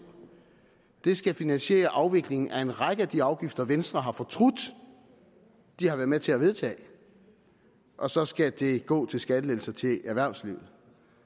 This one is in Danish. skal finansiere afviklingen af en række af de afgifter venstre har fortrudt de har været med til at vedtage og så skal det gå til skattelettelser til erhvervslivet